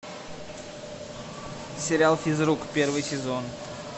сериал физрук первый сезон